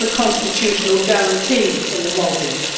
it is a constitutional guarantee in the Maldives.